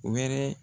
Wɛrɛ